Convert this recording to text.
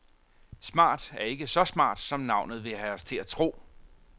Smart er ikke så smart, som navnet vil have os til at tro.